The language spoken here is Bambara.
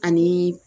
Ani